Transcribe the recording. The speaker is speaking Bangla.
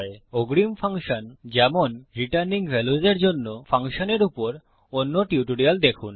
অগ্রিম ফাংশন যেমন রিটার্নিং ভ্যাল্যুস এর জন্য ফাংশনের উপর অন্য টিউটোরিয়াল দেখুন